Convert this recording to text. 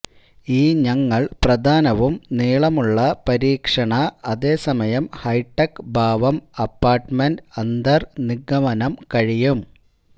ഈ ഞങ്ങൾ പ്രധാനവും നീളമുള്ള പരീക്ഷണ അതേസമയം ഹൈടെക് ഭാവം അപാര്ട്മെംട് അന്തർ നിഗമനം കഴിയും